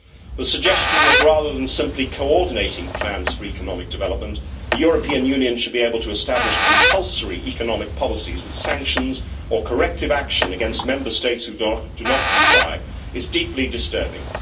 The suggestion that, rather than simply coordinating plans for economic development, the European Union should be able to establish compulsory economic policies with sanctions or corrective action against Member States who do not comply is deeply disturbing.